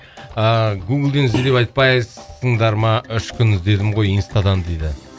ыыы гуглден ізде деп айтпайсыңдар ма үш күн іздедім ғой инстадан дейді